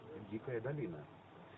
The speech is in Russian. дикая долина